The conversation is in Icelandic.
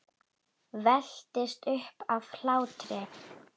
Veltist um af hlátri.